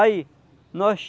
Aí, nós...